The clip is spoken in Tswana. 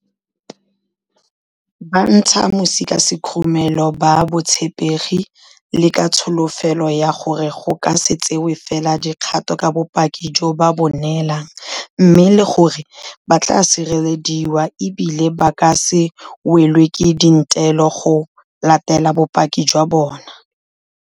Ba ntsha mosi ka sekhurumelo ka botshepegi le ka tsholofelo ya gore go ka se tsewe fela dikgato ka bopaki jo ba bo neelang, mme le gore ba tla sirelediwa e bile ba ka se welwe ke dintelo go latela bopaki jwa bona.